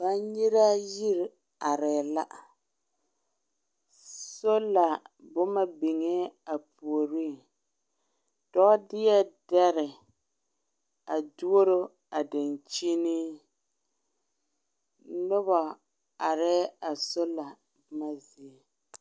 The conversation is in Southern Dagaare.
Bannyiraa yiri aree la, solar boma biŋɛ a puoriŋ , dɔɔ deɛ deɛre a douro a dankyine, noba aree a solar boma zie.